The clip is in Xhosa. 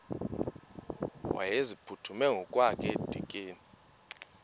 wayeziphuthume ngokwakhe edikeni